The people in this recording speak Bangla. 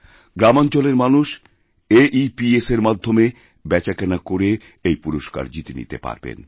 গ্রামাঞ্চলের মানুষ এইপিএস এর মাধ্যমে বেচাকেনা করে এই পুরস্কার জিতে নিতে পারবেন